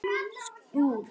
Hvorum megin voruð þið?